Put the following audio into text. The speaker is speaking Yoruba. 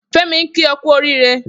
Femi n ki ọ kù órìré